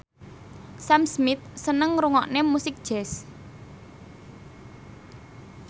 Sam Smith seneng ngrungokne musik jazz